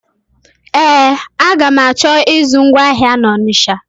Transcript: Ee, aga m achọ ịzụ ngwa ahịa na Ọnisha.